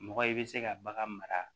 Mɔgɔ i bɛ se ka bagan mara